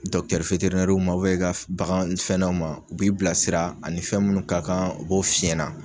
i ka bagan fɛn na ma u b'i bilasira ani fɛn munnu ka kan u bo fiɲɛna.